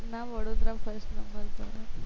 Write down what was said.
ના Vadodara first number છે